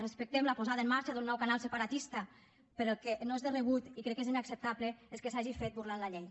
respectem la posada en marxa d’un nou canal separatista però el que no és de rebut i crec que és inacceptable és que s’hagi fet burlant la llei